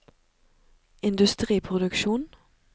industriproduksjon